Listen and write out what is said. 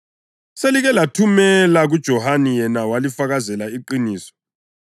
Selike lathumela kuJohane yena walifakazela iqiniso.